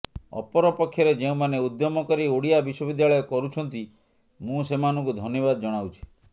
ଅପରପକ୍ଷରେ ଯେଉଁମାନେ ଉଦ୍ୟମ କରି ଓଡ଼ିଆ ବିଶ୍ୱବିଦ୍ୟାଳୟ କରୁଛନ୍ତି ମୁଁ ସେମାନଙ୍କୁ ଧନ୍ୟବାଦ ଜଣାଉଛି